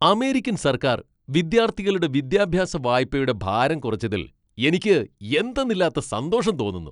American സർക്കാർ വിദ്യാർത്ഥികളുടെ വിദ്യാഭ്യാസ വായ്പയുടെ ഭാരം കുറച്ചതിൽ എനിക്ക് എന്തെന്നില്ലാത്ത സന്തോഷം തോന്നുന്നു.